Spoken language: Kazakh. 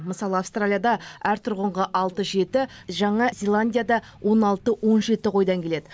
мысалы аустралияда әр тұрғынға алты жеті жаңа зеландияда он алты он жеті қойдан келеді